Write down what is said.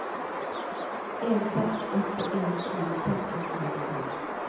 en seks åtte en ti seks hundre og nittifem